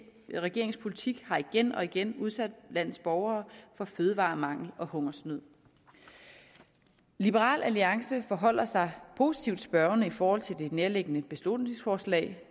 regerings politik har igen og igen udsat landets borgere for fødevaremangel og hungersnød liberal alliance forholder sig positivt spørgende i forhold til nærværende beslutningsforslag